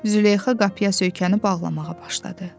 Züleyxa qapıya söykənib ağlamağa başladı.